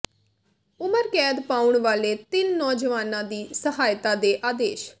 ਉਮਰ ਕੈਦ ਪਾਉਣ ਵਾਲੇ ਤਿੰਨ ਨੌਜਵਾਨਾਂ ਦੀ ਸਹਾਇਤਾ ਦੇ ਆਦੇਸ਼